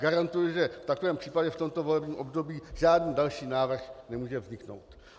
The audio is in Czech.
Garantuji, že v takovém případě v tomto volebním období žádný další návrh nemůže vzniknout.